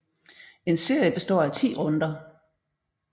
En serie består af 10 runder